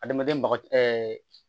Adamaden maga